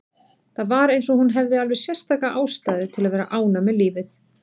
Það var eins og hún hefði alveg sérstaka ástæðu til að vera ánægð með lífið.